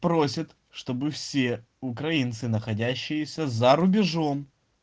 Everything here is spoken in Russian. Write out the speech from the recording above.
просит чтобы все украинцы находящиеся за рубежом